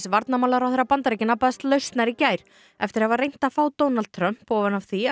varnarmálaráðherra Bandaríkjanna baðst lausnar í gær eftir að hafa reynt að fá Donald Trump ofan af því að